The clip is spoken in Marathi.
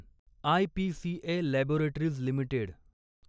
IPCA laboratories limited